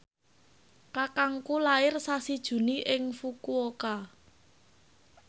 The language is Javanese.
kakangku lair sasi Juni ing Fukuoka